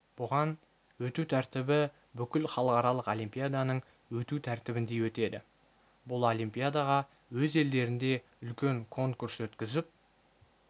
бұған өту тәртібі бүкіл халықаралық олимпиаданың өту тәртібіндей өтеді бұл олимпиадаға өз елдерінде үлкен конкурс өткізіп